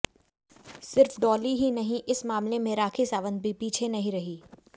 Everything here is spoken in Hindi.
सिर्फ डॉली ही नहीं इस मामले में राखी सावंत भी पीछे नहीं रहीं